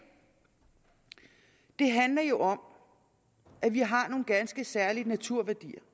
handler jo om at vi har nogle ganske særlige naturværdier